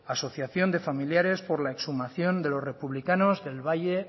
asociación de familiares por la exhumación de los republicamos del valle